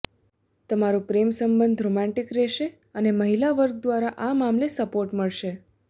તમારો પ્રેમ સંબંધ રોમાન્ટિક રહેશે અને મહિલા વર્ગ દ્વારા આ મામલે સપોર્ટ મળશે